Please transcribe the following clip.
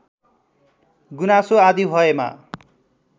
गुनासो आदि भएमा